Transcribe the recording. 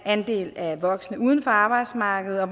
andel af voksne uden for arbejdsmarkedet og